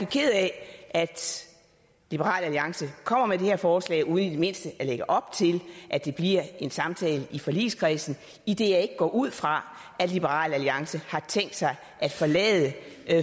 ked af at liberal alliance kommer med det her forslag uden i det mindste at lægge op til at der bliver en samtale i forligskredsen idet jeg ikke går ud fra at liberal alliance har tænkt sig at forlade